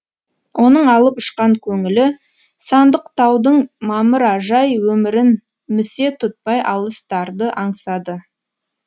оның алып ұшқан көңілі сандықтаудың мамыражай өмірін місе тұтпай алыстарды аңсады